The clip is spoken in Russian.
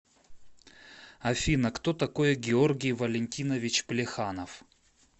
афина кто такой георгий валентинович плеханов